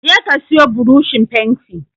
Je ka siyo buroshin fenti